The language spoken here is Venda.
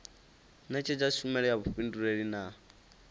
netshedza tshumelo ya vhufhinduleli na